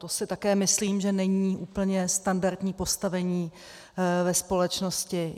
To si také myslím, že není úplně standardní postavení ve společnosti.